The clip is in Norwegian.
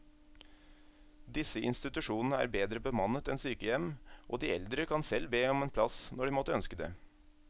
Disse institusjonene er bedre bemannet enn sykehjem, og de eldre kan selv be om en plass når de måtte ønske det.